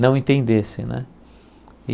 não entendesse né e.